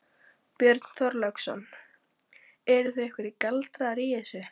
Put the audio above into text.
Björn Þorláksson: Eru einhverjir galdrar í þessu?